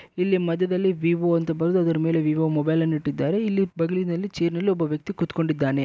ಇಲ್ಲಿ ಮಧ್ಯದಲ್ಲಿ ವಿವೊ ಅಂತ ಬರೆದು ಅದ್ರ ಮೇಲೆ ವಿವೊ ಮೊಬೈಲ್ ಅನ್ನುಇಟ್ಟಿದ್ದಾರೆ ಇಲ್ಲಿ ಬಗ್ಲಿನಲ್ಲಿ ಚೇರ್ ನಲ್ಲಿ ಒಬ್ಬ ವ್ಯಕ್ತಿ ಕೂತಕೊಂಡಿದ್ದಾನೆ.